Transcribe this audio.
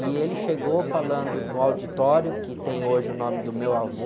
E ele chegou falando no auditório, que tem hoje o nome do meu avô,